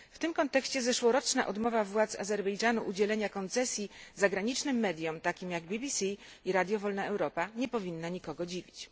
W tym kontekście zeszłoroczna odmowa władz Azerbejdżanu udzielenia koncesji zagranicznym mediom, takim jak BBC i Radio Wolna Europa nie powinna nikogo dziwić.